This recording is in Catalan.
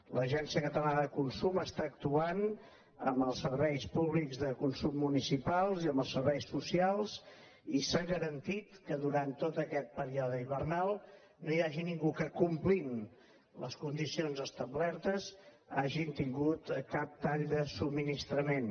l’agència catalana de consum està actuant amb els serveis públics de consum municipals i amb els serveis socials i s’ha garantit que durant tot aquest període hivernal no hi hagi ningú que complint les condicions establertes hagi tingut cap tall de subministrament